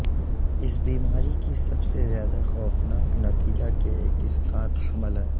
اس بیماری کی سب سے زیادہ خوفناک نتیجہ کے ایک اسقاط حمل ہے